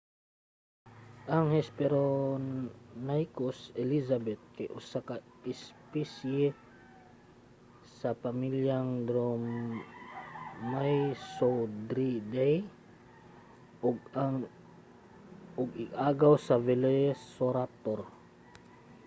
ang hesperonychus elizabeth kay usa ka espisye sa pamilyang dromaeosauridae ug ig-agaw sa velociraptor